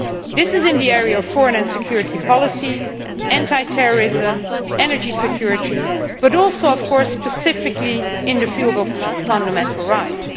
These are foreign and security policy, anti terrorism, energy security and also, of course, specifically, the field of fundamental rights.